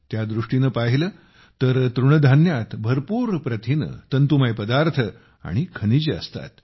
त्या दृष्टीने पाहिले तर तृणधान्यात भरपूर प्रथिने तंतुमय पदार्थ आणि खनिजे असतात